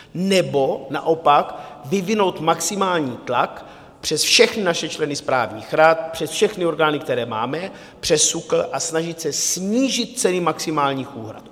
Nebo naopak vyvinout maximální tlak přes všechny naše členy správních rad, přes všechny orgány, které máme, přes SÚKL, a snažit se snížit ceny maximálních úhrad.